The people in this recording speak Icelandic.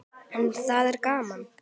En það er gaman.